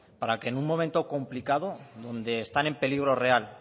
para que en un momento complicada donde están en peligro real